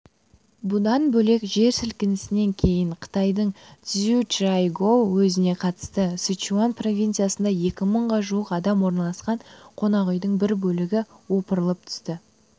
бұдан бөлек жер сілкінісінен кейін қытайдың цзючжайгоу уезіне қарасты сычуань провинциясында екі мыңға жуық адам орналасқан қонақүйдің бір бөлігі опырылып түсті